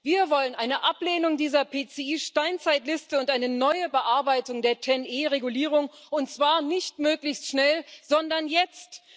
Wir wollen eine Ablehnung dieser PCI Steinzeitliste und eine neue Bearbeitung der TEN E Regulierung, und zwar nicht möglichst schnell, sondern jetzt!